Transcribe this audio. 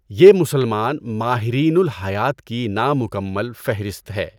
یہ مسلمان ماہرین الٰہیات کی نامکمل فہرست ہے۔